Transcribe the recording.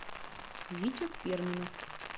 витя перминов